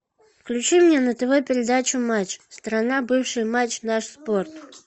включи мне на тв передачу матч страна бывший матч наш спорт